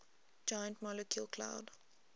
giant molecular cloud